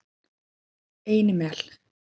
Einimel